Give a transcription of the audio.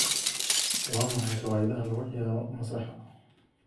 waa maxay riwaayadaha lagu ciyaarayo masraxa